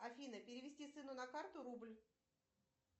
афина перевести сыну на карту рубль